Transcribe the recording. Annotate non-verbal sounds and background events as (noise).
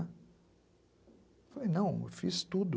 (unintelligible) Falei, não, eu fiz tudo.